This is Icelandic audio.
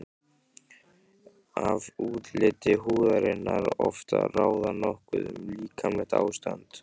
Af útliti húðarinnar má oft ráða nokkuð um líkamlegt ástand.